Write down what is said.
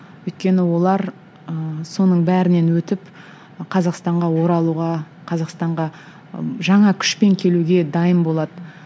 өйткені олар ыыы соның бәрінен өтіп қазақстанға оралуға қазақстанға ы жаңа күшпен келуге дайын болады